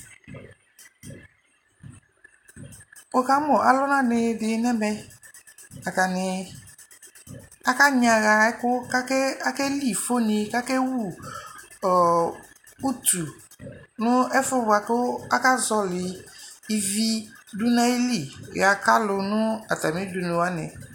Wukamʋ alʋnanidi nɛ mɛ Atani kanyaha ɛkʋ kʋ akeli ifoni kʋ akewu ɔɔ utu nʋ ɛfʋ boakʋ akazɔli ivi dʋ n'ayili yɔaka lʋ nʋ atami udunu wani